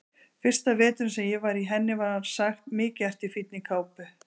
Fyrsta veturinn sem ég var í henni var sagt: Mikið ertu í fínni kápu